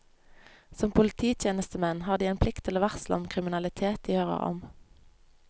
Som polititjenestemenn har de en plikt til å varsle om kriminalitet de hører om.